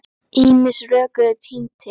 Ýmis rök eru tínd til.